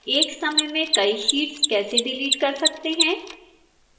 एक समय में कई sheets कैसे डिलीट कर सकते हैं